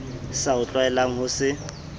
sa o tlwaelang ho se